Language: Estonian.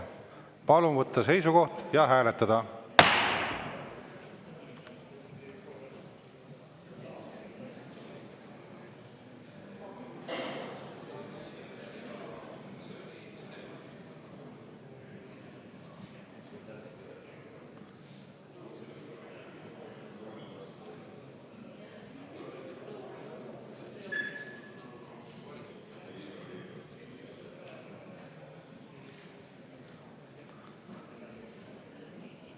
Palun võtta seisukoht ja hääletada!